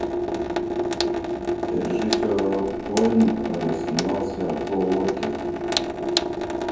режиссер роб коэн снимался пол уокер